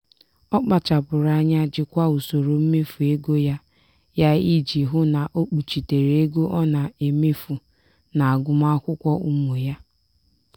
ọ kpachapụrụ anya jikwaa usoro mmefu ego ya ya iji hụ na o kpuchitere ego ọ na-emefu n'agụmakwụkwọ ụmụ ya.